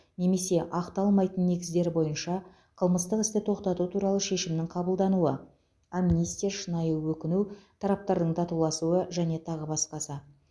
немесе ақталмайтын негіздер бойынша қылмыстық істі тоқтату туралы шешімнің қабылдануы амнистия шынайы өкіну тараптардың татуласуы және тағы басқасы